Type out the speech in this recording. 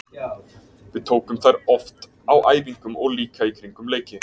Við tökum þær oft á æfingum og líka í kringum leiki.